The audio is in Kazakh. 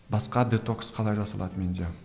басқа детокс қалай жасалады менде